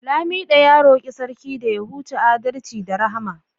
lamido ya roki Sarki da ya huce adalci da Rahama